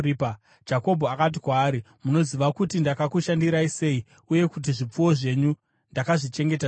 Jakobho akati kwaari, “Munoziva kuti ndakakushandirai sei uye kuti zvipfuwo zvenyu ndakazvichengeta sei.